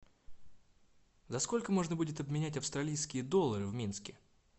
за сколько можно будет обменять австралийские доллары в минске